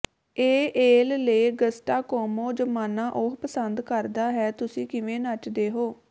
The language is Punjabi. ਏ ਏਲ ਲੇ ਗਸਟਾ ਕੋਮੋ ਜ਼ਮਾਨਾ ਉਹ ਪਸੰਦ ਕਰਦਾ ਹੈ ਤੁਸੀਂ ਕਿਵੇਂ ਨੱਚਦੇ ਹੋ